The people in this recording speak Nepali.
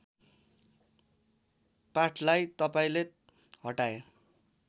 पाठलाई तपाईँले हटाए